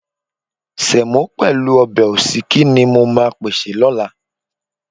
Sẹ̀mọ́ pẹ̀lú ọbẹ̀ òsíkí ni mo máa pèsè lọ́la.